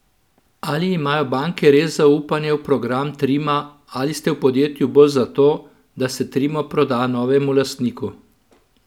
Ali imajo banke res zaupanje v program Trima ali ste v podjetju bolj zato, da se Trimo proda novemu lastniku?